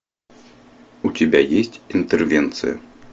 у тебя есть интервенция